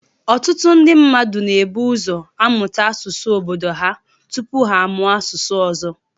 Ọtụtụ ndị mmadụ na-ebu ụzọ amụta asụsụ obodo ha tupu ha amụọ asụsụ ọzọ